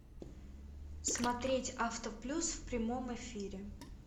смотреть авто плюс в прямом эфире